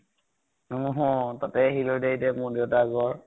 অ হ । তাতেই আহিলো দেই, এতিয়া মোৰ দেউতা ৰ ঘৰ ।